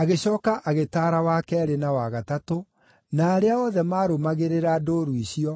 Agĩcooka agĩtaara wa keerĩ na wa gatatũ, na arĩa othe marũmagĩrĩra ndũũru icio,